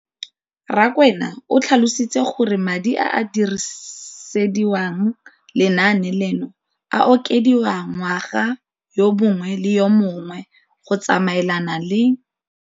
Rakwena o tlhalositse gore madi a a dirisediwang lenaane leno a okediwa ngwaga yo mongwe le yo mongwe go tsamaelana le.